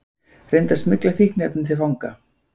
Reyndi að smygla fíkniefnum til fanga